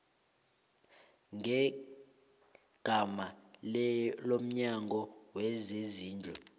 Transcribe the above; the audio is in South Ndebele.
ngegama lomnyango wezezindlu